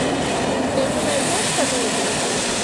ты мне найдешь комедию